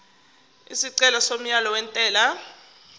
isicelo somyalo wentela